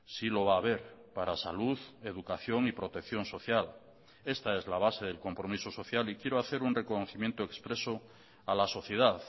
sí lo va a haber para salud educación y protección social esta es la base del compromiso social y quiero hacer un reconocimiento expreso a la sociedad